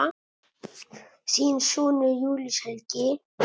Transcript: Þinn sonur, Júlíus Helgi.